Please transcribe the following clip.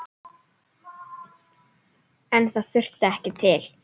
En það þurfti ekki til.